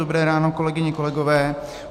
Dobré ráno, kolegyně, kolegové.